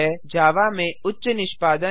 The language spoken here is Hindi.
जावा में उच्च निष्पादन हैं